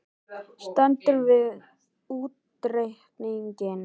Stendur við útreikninginn